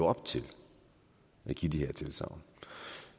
op til de de tilsagn